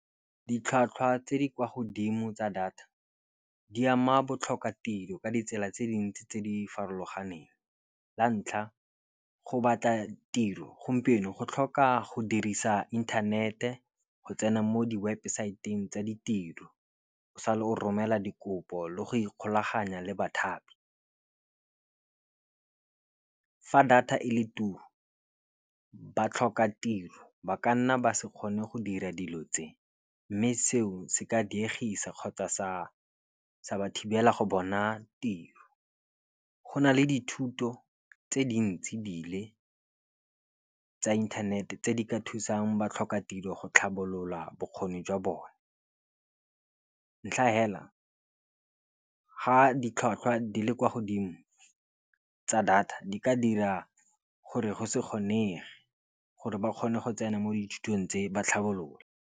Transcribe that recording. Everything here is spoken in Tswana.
Ditlhwatlhwa tse di kwa godimo tsa data di ama botlhoka tiro ka ditsela tse dintsi tse di farologaneng la ntlha go batla tiro gompieno go tlhoka go dirisa internet-e go tsena mo di website go tsa ditiro o sala o romela dikopo le go ikgolaganya le bathapi, fa data e le turu ba tlhoka tiro ba ka nna ba se kgone go dira dilo tse mme seo se ka diegise kgotsa sa ba thibela go bona tiro go na le dithuto tse di ntsi e bile tsa inthanet-e tse di ka thusang ba tlhoka tiro go tlhabolola bokgoni jwa bone, ntlha fela ga ditlhotlhwa di le kwa godimo tsa data di ka dira gore go se kgonege gore ba kgone go tsena mo dithutong tse ba tlhabolole.